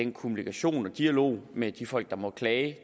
kommunikationen og dialogen med de folk der måtte klage